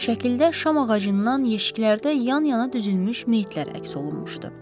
Şəkildə şam ağacından yeşiklərdə yan-yana düzülmüş meyitlər əks olunmuşdu.